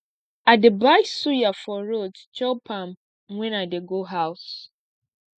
i dey buy suya for road chop am wen i dey go house